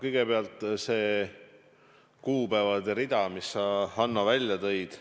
No kõigepealt see kuupäevade rida, mis sa, Hanno, välja tõid.